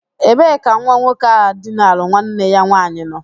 Ebee ka nwa nwoke ahu dinara nwanne ya nwaanyị nọ?